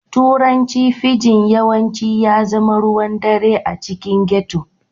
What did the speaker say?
Turanci fijin yawanci ya zama ruwan ɗare a cikin ghetto